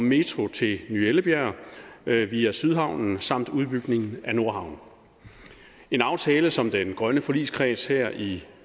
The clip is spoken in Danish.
metro til ny ellebjerg via sydhavnen samt udbygning af nordhavnen en aftale som den grønne forligskreds her i